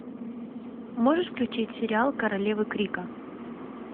можешь включить сериал королевы крика